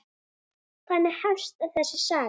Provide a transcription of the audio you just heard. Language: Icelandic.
Þannig hefst þessi saga.